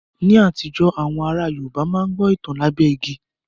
Ní àtijọ́, àwọn ará Yorùbá máa ń gbọ́ ìtàn lábẹ́ igi